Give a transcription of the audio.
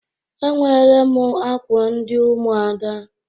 Enwere m akwa ndị ụmụada.